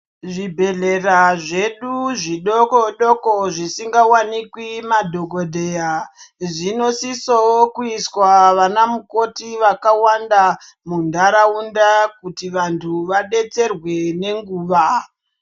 Zvibhedhlera zvedu zvidoko doko zvisingawanikwi madhokodheya zvinosisawo kuiswa vana mukoti vakawanda munharaunda kuti vantu vadetserwe nenguva.